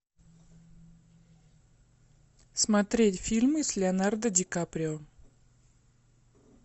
смотреть фильмы с леонардо ди каприо